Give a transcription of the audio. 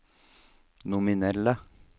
nominelle